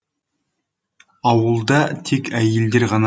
ауылда тек әйелдер ғана